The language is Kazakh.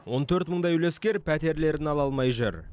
он төрт мыңдай үлескер пәтерлерін ала алмай жүр